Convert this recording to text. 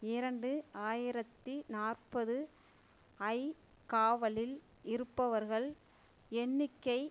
இரண்டு ஆயிரத்தி நாற்பது ஐ காவலில் இருப்பவர்கள் எண்ணிக்கை